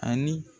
Ani